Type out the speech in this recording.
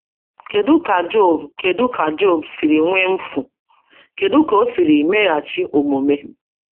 Kedu ka Job Kedu ka Job siri nwee mfu, kedu ka o siri meghachi omume?